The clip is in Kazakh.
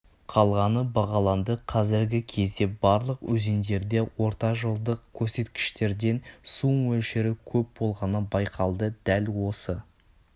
қалғаны бағаланды қазіргі кезде барлық өзендерде ортажылдық көрсеткіштерден су мөлшері көп болғаны байқалды дәл осы